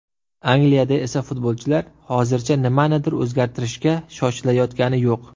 Angliyada esa futbolchilar hozircha nimanidir o‘zgartirishga shoshilayotgani yo‘q.